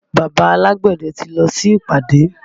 Bàbá alágbẹ̀dẹ ti lọ sí ìpàdé